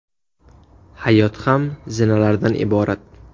Hayot ham zinalardan iborat.